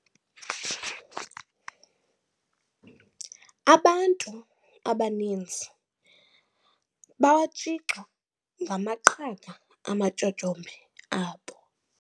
Abantu abaninzi bawatshixa ngamaqhaga amatyotyombe abo.